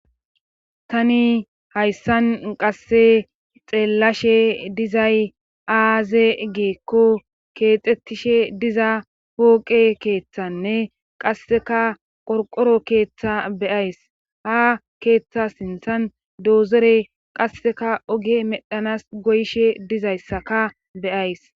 tani hayssan qasse xeellashe dizay aaze giikko keexxettishe diza pooqe keeththanne qasseka qorqoro keeththa beyays ha keeththa sinthan doozere qasseka oge medhanas goyshe dizayssaka beyays